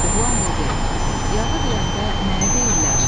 Oğlan dedi: Yağı deyəndə nəyə deyirlər?